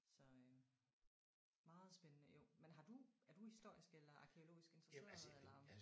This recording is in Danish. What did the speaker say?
Så øh meget spændende jo. Men har du er du historisk eller arkæologisk interesseret eller?